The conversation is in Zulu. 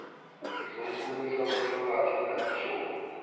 ngizomkhumisa umhlabathi lingakashoni